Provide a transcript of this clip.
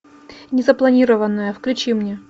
незапланированная включи мне